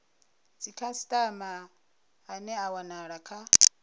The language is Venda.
dzikhasitama ane a wanala kha